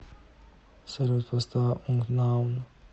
салют поставь ункнаун